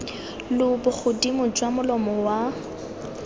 lo bogodimo jwa molomo wa